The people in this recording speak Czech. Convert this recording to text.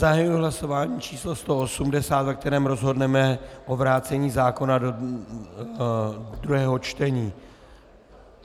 Zahajuji hlasování číslo 180, ve kterém rozhodneme o vrácení zákona do druhého čtení.